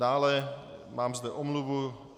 Dále zde mám omluvu.